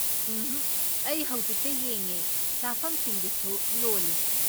ꯎꯝꯍꯛ, ꯑꯩ ꯍꯧꯖꯤꯛꯇ ꯌꯦꯡꯉꯦ, ꯆꯥꯐꯝꯁꯤꯡꯗꯨꯁꯨ ꯂꯣꯜꯂꯤ꯫